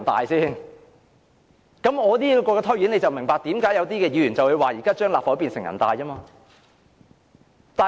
我的解釋可以讓大家明白為何有議員說現在立法會快變成人大。